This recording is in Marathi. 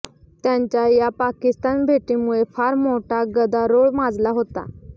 त्यांच्या या पाकिस्तान भेटीमुळे फार मोठा गदारोळ माजला होता